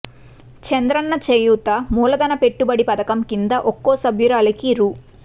చంద్రన్న చేయూత మూలధన పెట్టుబడి పథకం కింద ఒక్కో సభ్యురాలికి రూ